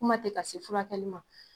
Kuma tɛ ka se furakɛli ma.